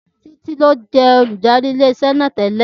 Títí ní ó jẹ́ olùdarí ilé iṣẹ́ náà tẹ́lẹ̀